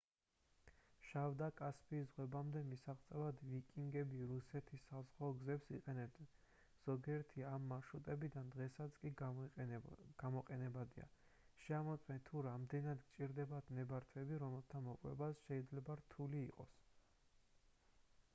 შავ და კასპიის ზღვებამდე მისაღწევად ვიკინგები რუსეთის საზღვაო გზებს იყენებდნენ ზოგიერთი ამ მარშრუტებიდან დღესაც კი გამოყენებადია შეამოწმეთ თუ რამდენად გჭირდებათ ნებართვები რომელთა მოპოვებაც შეიძლება რთული იყოს